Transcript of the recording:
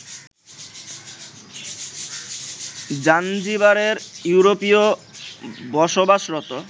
জাঞ্জিবারের ইউরোপীয় বসবাসরত